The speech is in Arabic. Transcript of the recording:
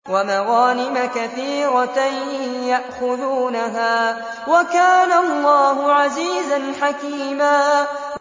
وَمَغَانِمَ كَثِيرَةً يَأْخُذُونَهَا ۗ وَكَانَ اللَّهُ عَزِيزًا حَكِيمًا